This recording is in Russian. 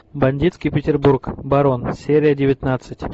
бандитский петербург барон серия девятнадцать